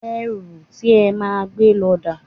Ẹrù ti e máa gbé lọ dà?